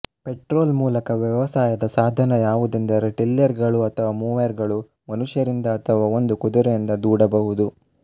ಪೆಟ್ರೊಲ್ಮೂಲಕ ವ್ಯವಸಾಯದ ಸಾಧನ ಯಾವುದೆಂದರೆ ಟಿಲ್ಲೆರ್ಗಳು ಅಥವಾ ಮೊವೆರ್ಗಳು ಮನುಷ್ಯರಿಂದ ಅಥವಾ ಒಂದು ಕುದುರೆಯಿಂದ ದೂಡ ಬಹುದು